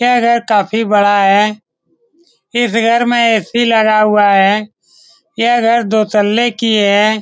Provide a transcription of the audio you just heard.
यह घर काफी बड़ा है । इस घर में ए.सी. लगा हुआ है। यह घर दो तल्ले की है।